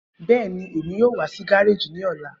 Bẹẹni, Emi yoo wa si gareji ni ọla.